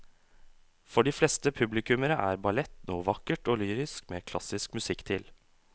For de fleste publikummere er ballett noe vakkert og lyrisk med klassisk musikk til.